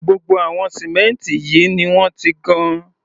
Gbogbo àwọn símẹ́ǹtì yìí ni wọ́n ti gan.